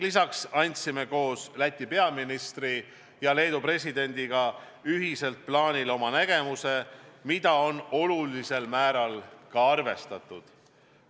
Lisaks andsime koos Läti peaministri ja Leedu presidendiga plaani kohta ka oma ühise nägemuse, mida on olulisel määral arvestatud.